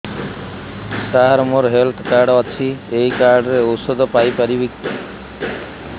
ସାର ମୋର health card ଅଛି ଏହି କାର୍ଡ ରେ ଔଷଧ ପାଇପାରିବି